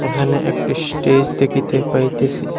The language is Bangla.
এখানে একটি স্টেজ দেখিতে পাইতেছি।